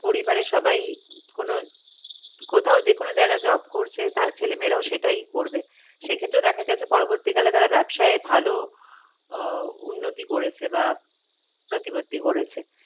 পরিবারের সবাই কোনো কোথাও যেকোনো জায়গায় job করছে তার ছেলে মেয়ে রাও সেটাই করবে সেক্ষেত্রেও দেখা গেছে পরবর্তীকলে তারা ব্যাবসায় ভালো আহ উন্নতি করেছে বা প্রটিভত্ত গড়েছে